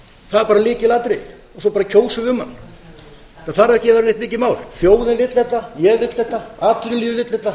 það er bara lykilatriði svo kjósum við um hann það þarf ekki að vera neitt mikið mál þjóðin vill þetta ég vil þetta atvinnulífið vill þetta